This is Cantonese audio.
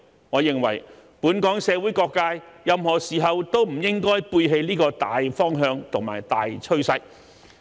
我認為，本港社會各界任何時候都不應背棄這個大方向和大趨勢。